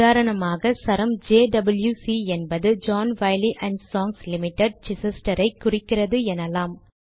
உதாரணமாக சரம் ஜேடிடபி என்பது John Wiley and Sons Limited Chichester ஐ குறிக்கிறது எனலாம்